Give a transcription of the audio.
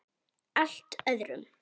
Allt öðrum.